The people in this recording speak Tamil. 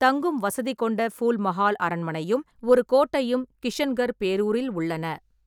தங்கும் வசதி கொண்ட ஃபூல் மஹால் அரண்மனையும், ஒரு கோட்டையும் கிஷன்கர் பேரூரில் உள்ளன.